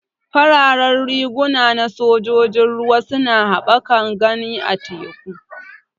Fararen riguna na sojan ruwa suna haɓaka gani a teku.